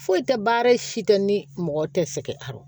Foyi tɛ baara si tɛ ni mɔgɔ tɛ sɛgɛn a